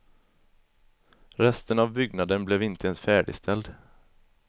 Resten av byggnaden blev inte ens färdigställd.